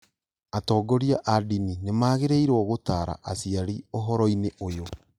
Atongoria a ndini nĩmagĩrĩirwo gũtara aciari ũhoro-inĩ ũyũ